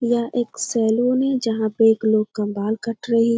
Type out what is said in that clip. यह एक सैलून है जहाँ पे लोग का बाल कट रही है।